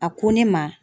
A ko ne ma